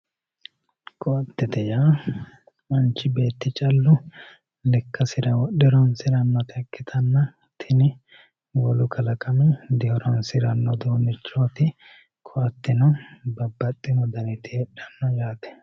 koattette yaa manchi beetti callu lekkasira wodhe horonsirannota ikkitanna tini wolu kalaqami dihoronsiranno uduunnichooti koatteno babbaxino daniti heedhanno yaate.